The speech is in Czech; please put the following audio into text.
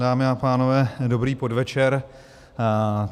Dámy a pánové, dobrý podvečer.